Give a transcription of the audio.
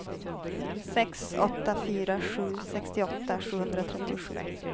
sex åtta fyra sju sextioåtta sjuhundratrettiosju